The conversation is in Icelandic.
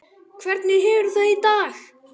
Hvernig hefurðu það í dag?